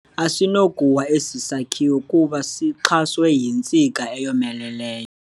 Asinakuwa esi sakhiwo kuba sixhaswe yintsika eyomelelyo.